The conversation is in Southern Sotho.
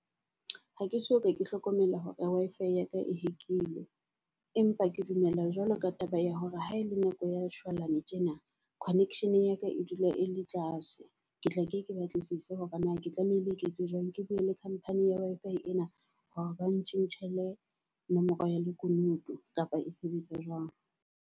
Ha ke so ka ke hlokomela hore Wi-Fi ya ka e hack-ilwe. Empa ke dumela jwalo ka taba ya hore ha e le nako ya shwalane tjena connection ya ka e dula e le tlase. Ke tlake ke batlisise hore na ke tlamehile ke etse jwang ke bue le company ya Wi-Fi ena, hore bang tjhentjhele nomoro ya lekunutu kapa e sebetsa jwang.